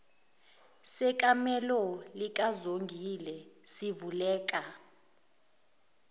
sekamelo likazongile sivuleka